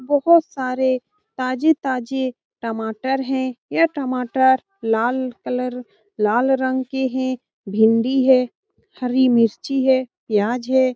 बहोत सारे ताजे-ताजे टमाटर हैं यह टमाटर लाल कलर लाल रंग के हैं भिन्डी हैं हरी मिर्ची हैं प्याज हैं।